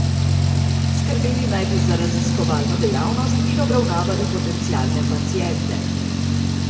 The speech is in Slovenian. Skrbeli naj bi za raziskovalno dejavnost in obravnavali potencialne paciente.